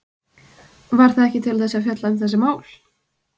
Var það ekki til þess að fjalla um þessi mál?